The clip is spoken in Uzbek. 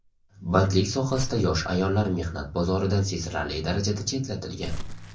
Bandlik sohasida yosh ayollar mehnat bozoridan sezilarli darajada chetlatilgan.